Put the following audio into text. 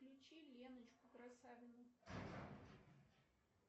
включи леночку красавину